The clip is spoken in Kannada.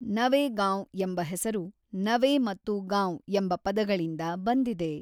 ‘ನವೇಗಾಂವ್’ ಎಂಬ ಹೆಸರು ‘ನವೇ’ ಮತ್ತು ‘ಗಾಂವ್’ ಎಂಬ ಪದಗಳಿಂದ ಬಂದಿದೆ.